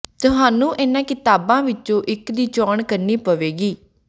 ਤੁਹਾਨੂੰ ਇਨ੍ਹਾਂ ਕਿਤਾਬਾਂ ਵਿੱਚੋਂ ਇੱਕ ਦੀ ਚੋਣ ਕਰਨੀ ਪਵੇਗੀ